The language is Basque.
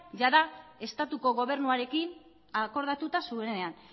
jada estatuko gobernuarekin akordatuta zuenean